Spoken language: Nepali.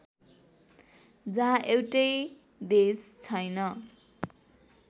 जहाँ एउटै देश छैन